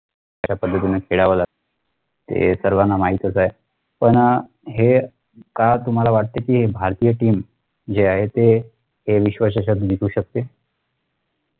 कश्या पद्धतीने खेळावं लागत हे सर्वांना माहीतच आहे पण हे काय तुम्हाला वाटत कि भारतीय team जे आहे ते ते विश्वचषक जिंकू शकते